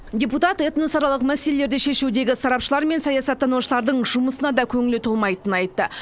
депутат этносаралық мәселелерді шешудегі сарапшылар мен саясаттанушылардың жұмысына да көңілі толмайтынын айтты